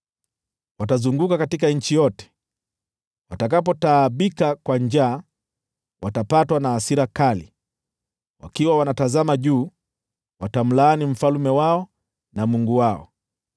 Watazunguka katika nchi yote, wakiwa na dhiki na njaa. Watakapotaabika kwa njaa, watapatwa na hasira kali, nao, wakiwa wanatazama juu, watamlaani mfalme wao na Mungu wao.